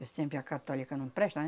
que sempre a católica não presta, né?